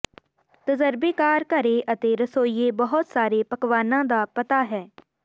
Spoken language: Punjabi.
ਤਜਰਬੇਕਾਰ ਘਰੇ ਅਤੇ ਰਸੋਈਏ ਬਹੁਤ ਸਾਰੇ ਪਕਵਾਨਾ ਦਾ ਪਤਾ ਹੈ